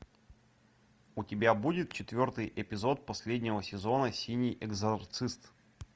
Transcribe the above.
у тебя будет четвертый эпизод последнего сезона синий экзорцист